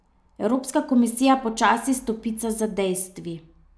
Evropska komisija počasi stopica za dejstvi.